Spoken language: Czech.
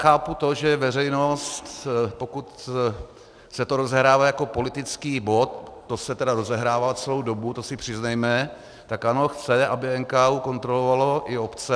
Chápu to, že veřejnost, pokud se to rozehrává jako politický bod, to se tedy rozehrává celou dobu, to si přiznejme, tak ano, chce, aby NKÚ kontroloval i obce.